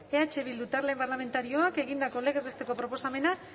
eh bildu talde parlamentarioak egindako legez besteko proposamena